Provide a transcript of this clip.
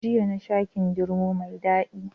Jiya nasha kindirmo mai Dadi